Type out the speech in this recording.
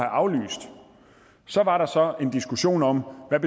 aflyst så var der så en diskussion om hvad